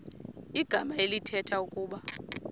igama elithetha ukuba